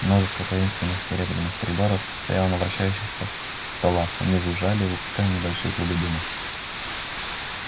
множество таинственных серебряных приборов стояло на вращающихся столах они жужжали выпуская небольшие клубы дыма